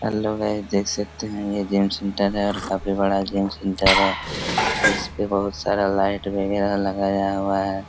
Hello guys देख सकते है ये जिम सेंटर है और काफी बड़ा जिम सेंटर और इस पे बहुत सारा लाइट वगेरा लगाया हुआ है।